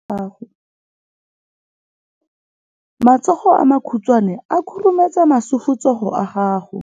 Matsogo a makhutshwane a khurumetsa masufutsogo a gago.